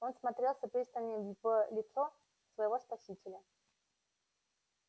он всмотрелся пристальней в лицо своего спасителя